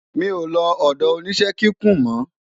mí o ló odo oníṣe kíkún mo